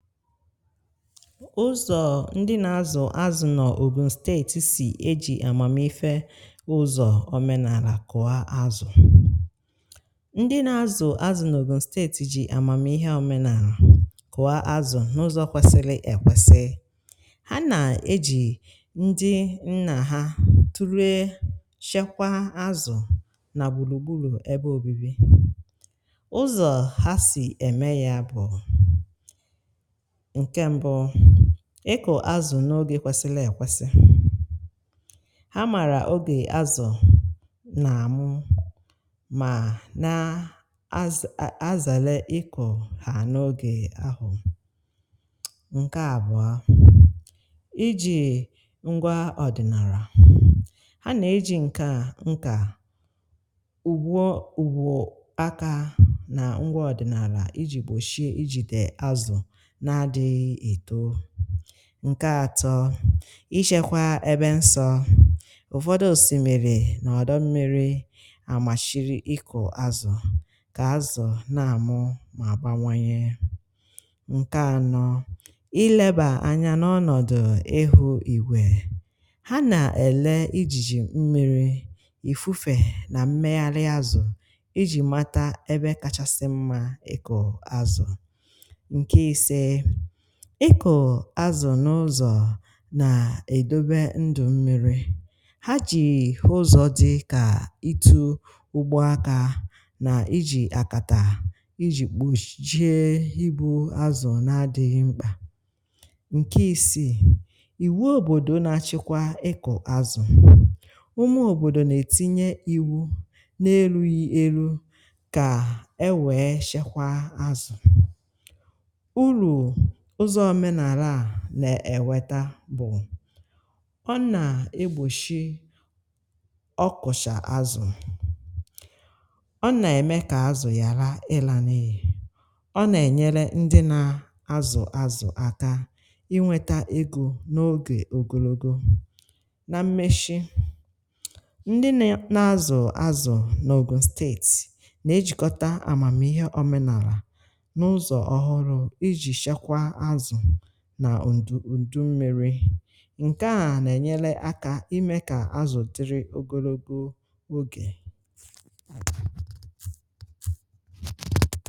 ụzọọ̇ ndị na-azụ azụ nọ Ogun steetì sì e jì amàmife ụzọ̀ omenàrà kuà azụ: Ndị na-azụ azụ nọ Ogun steetì jì amàmihe omenàrà kuà azụ n’ụzọ̀ kwesili ekwesì. Ha nà-eji ndị nnà ha tụrụechekwa azụ nà gburugburu ebe obibi. ụzọ̀ ha sì ème ya bụ̀; Nkè mbụ̇, ịkụ̀ azụ̀ n’ogè kwesili èkwesi, ha màrà ogè azụ̀ nà àmụ mà nà az azàle ịkụ̀ ha n’ogè ahụ̀. Nke àbụọ̀ a, iji̇ ngwa ọ̀dị̀nàrà, ha nà ejì ǹke a ǹka ùgwo ùgwò aka nà ǹgwa ọ̀dị̀nàlà iji̇ gbòshie ijìdè azụ̀ nke adịghị too. Nke ȧtọ̇, ishėkwȧ ebe nsọ̇, ùfọdụ òsìmìrì nà ọ̀dọ mmiri àmàchiri ịkụ̀ àzụ̀, kà àzụ̀ na-àmụ mà àbawanye. Nke ȧnọ̇, ilėbà ȧnyȧ n’ọnọ̀dụ̀ ihu̇ ìgwè, ha nà-èle ijìjì mmiri̇, ìfùfè, nà mmeghàrị̇ àzụ̀ ijì mata ebe kachasi mma ikù àzụ̀. Nke isė, ịkụ̀ azu n’ụzọ̀ nà-edobe ndụ̀ mmi̇ri̇, ha ji̇ ụzọ̀ di kà itu̇ ụgbọ akȧ nà iji̇ akàtà iji̇ kpuchie ibu̇ azụ̀ na adịghị̇ mkpà. Nkè isii, ìwu òbòdò nà-achịkwa ịkụ̀ azụ̀, ụmụ òbòdò nà-etinye iwu̇ n’eru̇ghi̇ elu̇ kà enwèè chekwa azụ̀. Uru ụzọ̀ ọmenàrà à na-eweta bụ̀; ọ nà-egbòshi ọkụ̀cha azụ̀, ọ nà-ème kà azụ̀ ghàra ịlȧ n’iyì, ọ nà-ènyere ndi nà azụ̀ azụ̀ aka inwetȧ egȯ n’ogè ogologo. Na mmeshị, ndi ne nà-azụ̀ azụ̀ n’Ogùn steètì, nà-ejìkọta àmàmihe ọ̀menàrà n’ụzọ̀ ọhụrụ̇ ijì chekwaa azu na ndu ndu mmiri nkè a na-enyele aka ime ka azụ dịrị ogologo oge.